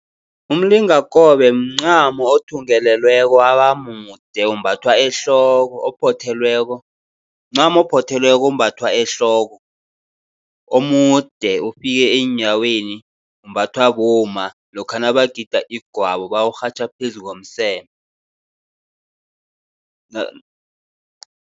Umlingakobe mncamo othungelelweko wabamude, umbathwa ehloko ophothelweko. Mncamo ophothelweko ombathwa ehloko, omude ofika eenyaweni, umbathwa bomma lokha nabagida igwabo, bawurhatjha phezu ngomseme